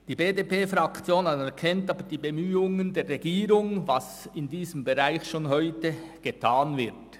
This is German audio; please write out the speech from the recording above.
Die BDP-Fraktion anerkennt die Bemühungen der Regierung, die bereits heute in diesem Bereich unternommen werden.